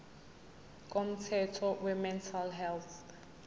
komthetho wemental health